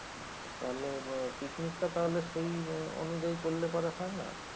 তাহলে পিকনিক টা তাহলে সেই অনুযায়ী করলে পরে হয় না?